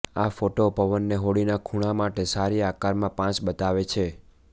આ ફોટો પવનને હોડીના ખૂણા માટે સારી આકારમાં પાચ બતાવે છે